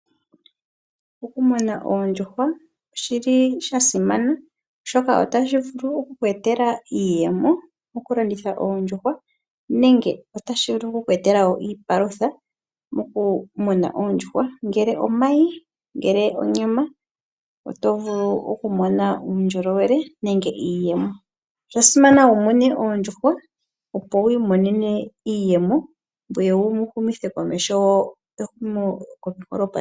Okumuna oondjuhwa oshili shasimana oshoka otashi vulu oku ku etela iiyemo, oku landitha oondjuhwa nenge otashi vulu wo kuku etela iipalutha moku muna oondjuhwa. Ngele omayi, ngele onyama oto vulu ku mona uundjolowele nenge iiyemo. Osha simana wu mune oondjuhwa opo wi imonene iiyemo, ngoye wu humithe komeho ehumokomeho.